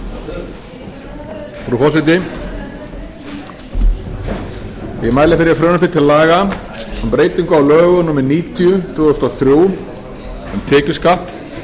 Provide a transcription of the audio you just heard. frú forseti ég mæli fyrir frumvarpi til laga um breyting á lögum númer níutíu tvö þúsund og þrjú um tekjuskatt